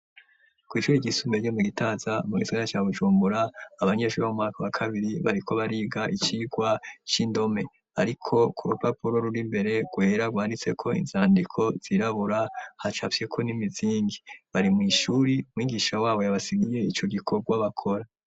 Kw'ishura igisumeryo mu gitaza mu gisigana ca gucumbura abanyeshuri b' mu maka wa kabiri bariko bariga icirwa c'indome, ariko ku rupapuro ruri mbere gwera rwanditseko inzandiko zirabura hacavyeko n'imizingi bari mw'ishuri mwigisha wabo yabasigiye ico gikorwa bakora.